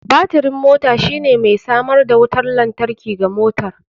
Batirin mota shine mai samar da wutar lantarki ga motar.